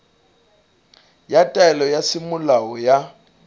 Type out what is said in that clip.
ya taelo ya semolao ya